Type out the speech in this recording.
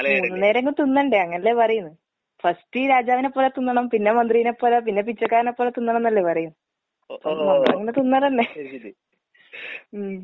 മൂന്ന് നേരേങ്കിലും തിന്നണ്ടേ, അങ്ങനല്ലേ പറയുന്നേ? ഫസ്റ്റ് രാജാവിനെപ്പോലെ തിന്നണം, പിന്നെ മന്ത്രീനെപ്പോലെ, പിന്നെ പിച്ചക്കാരനേപ്പോലെ തിന്നണന്നല്ലേ പറയാ. തിന്നാലല്ലേ. ഉം.